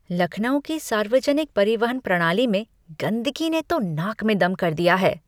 लखनऊ की सार्वजनिक परिवहन प्रणाली में गंदगी ने तो नाक में दम कर दिया है।